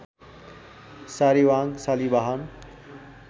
सारीबाहन Shalivahana